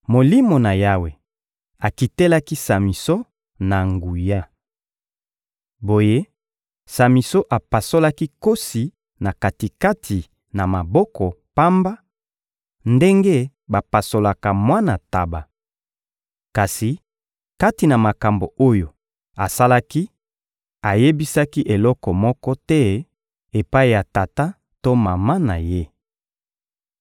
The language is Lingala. Molimo na Yawe akitelaki Samison na nguya. Boye, Samison apasolaki nkosi na kati-kati, na maboko pamba, ndenge bapasolaka mwana ntaba. Kasi kati na makambo oyo asalaki, ayebisaki eloko moko te epai ya tata to mama na ye.